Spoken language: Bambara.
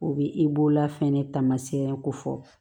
U bɛ i bolola fɛnɛ taamasiyɛn ko fɔ